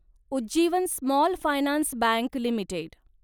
Ujjivan small finance bank limited